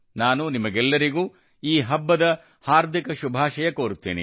ನಾನು ನಿಮ್ಮೆಲ್ಲರಿಗೂ ಈ ಹಬ್ಬದ ಹಾರ್ದಿಕ ಶುಭಾಶಯ ಕೋರುತ್ತೇನೆ